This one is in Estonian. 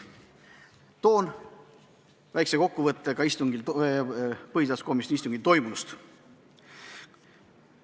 Teen väikese kokkuvõtte sellel istungil toimunust.